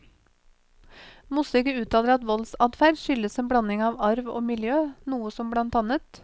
Mossige uttaler at voldsadferd skyldes en blanding av arv og miljø, noe som bl.